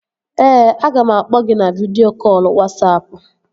Ee, aga m akpọ gị na vidịo kọlụ Wasapụ